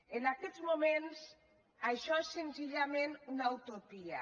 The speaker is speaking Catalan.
en aquests moments això és senzillament una utopia